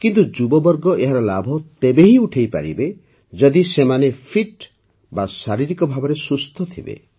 କିନ୍ତୁ ଯୁବବର୍ଗ ଏହାର ଲାଭ ତେବେ ହିଁ ଉଠାଇପାରିବେ ଯଦି ସେମାନେ ଫିଟ୍ ଶାରୀରିକ ଭାବେ ସୁସ୍ଥ ଥିବେ